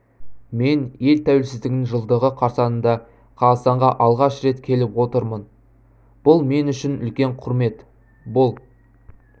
мен ел тәуелсіздігінің жылдығы қарсаңында қазақстанға алғаш рет келіп отырмын бұл мен үшін үлкен құрмет бұл